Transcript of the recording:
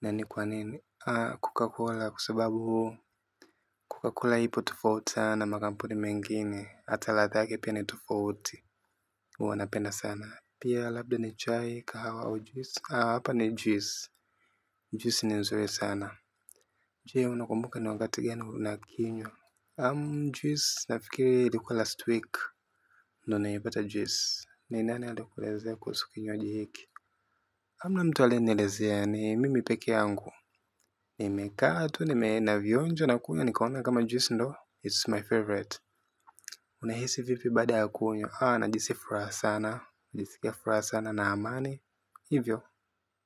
Na ni kwa nini? Ah Coca-Cola kwa sababu huu. Coca-Cola ipo tofauti sana. Makampuni mengine. Ata ladha yake pia ni tofauti. Huwa napenda sana. Pia labda ni chai kahawa au juisi. Ah hapa ni juice. Juice ni nzuri sana. Jee unakumbuka ni wakati gani unakinywa naam juisi nafikiri likwa last week Nonei bata jwis ni nane adekuleze kwa sukinyo jihiki hamna mtu alienielezea ni mimi pekee yangu. Nimekaa tu nime navionja nakula nikaona kama juisi ndo It's my favorite. Unahisi vipi baada ya kunywa najisi furaha sana. Jisike fura sana na amani. Hivyo.